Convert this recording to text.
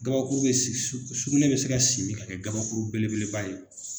Gabakuru bɛ si sugunɛ bɛ se ka simi ka kɛ gabakuru belebeleba ye.